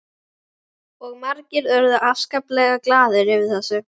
Og margir urðu afskaplega glaðir yfir þessu.